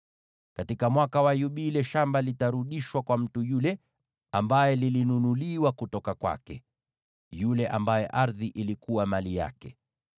Katika Mwaka wa Yubile, shamba litarudishwa kwa mtu yule ambaye lilinunuliwa kutoka kwake, yule ambaye ardhi ilikuwa mali yake.